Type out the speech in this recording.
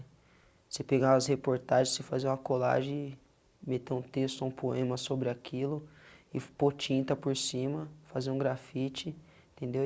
Você pegar as reportagens, você fazer uma colagem, meter um texto, um poema sobre aquilo, e pôr tinta por cima, fazer um grafite, entendeu?